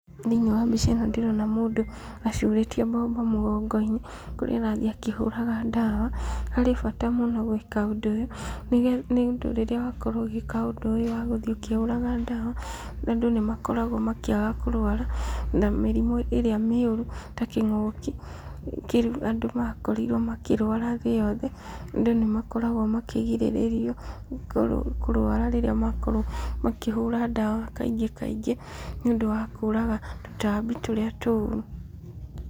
Thĩiniĩ wa mbica ĩno ndĩrona mũndũ acurĩtie mbombo mũgongo-inĩ, kũrĩa arathiĩ akĩhũraga ndawa, harĩ bata mũno gwĩka ũndũ ũyũ, nĩũndũ rĩrĩa wakorwo ũgĩka ũndũ ũyũ wa gũthiĩ ũkĩhũraga ndawa, andũ nĩmakoragwo makĩaga kũrwara, mĩrimũ ĩrĩa mĩũru ta kĩng'ũki, kĩu andũ makorirwo makĩrwara thĩ yothe, andũ nĩ makoragwo makĩgirĩrĩrio kũrwara rĩrĩa makorwo makĩhũra ndawa kaingĩ kaingĩ, nĩ ũndũ wa kũraga tũtambi tũrĩa tũru.